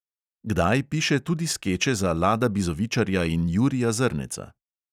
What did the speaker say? Kdaj piše tudi skeče za lada bizovičarja in jurija zrneca.